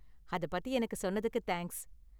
அதை பத்தி எனக்கு சொன்னதுக்கு தேங்க்ஸ்.